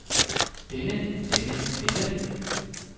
denne denne denne